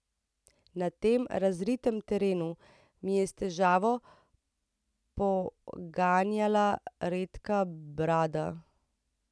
Na tem razritem terenu mi je s težavo poganjala redka brada.